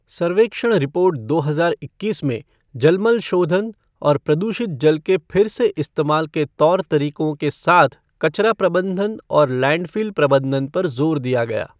सर्वेक्षण रिपोर्ट दो हजार इक्कीस में जलमल शेाघन और प्रदूषित जल के फिर से इस्तेमाल के तौर तरीकों के साथ कचरा प्रबंधन और लैंडफ़िल प्रबंधन पर ज़ोर दिया गया